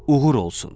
Uğur olsun.